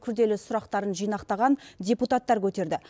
күрделі сұрақтарын жинақтаған депутаттар көтерді